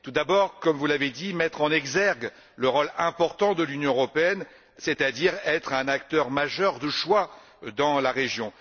Tout d'abord, comme vous l'avez dit, il s'agit de mettre en exergue le rôle important de l'Union européenne, c'est à dire être un acteur majeur de choix dans la région.